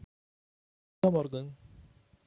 Komdu á morgun.